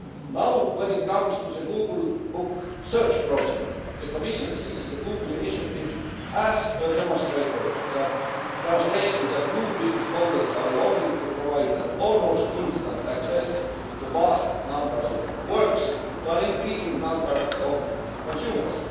Now, when it comes to the Google Book Search Project, the Commission sees the Google initiative as a demonstration that new business models are evolving to provide almost instant access to vast numbers of works to an increasing number of consumers.